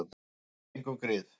Og gefum engum grið.